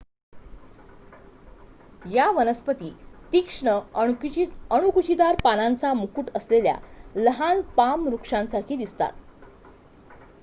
या वनस्पती तीक्ष्ण अणकुचीदार पानांचा मुकुट असलेल्या लहान पाम वृक्षासारखी दिसतात